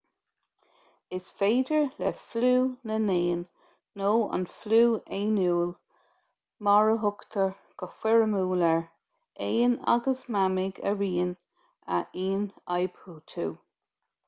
is féidir le fliú na n-éan nó an fliú éanúil mar a thugtar go foirmiúil air éin agus mamaigh araon a ionfhabhtú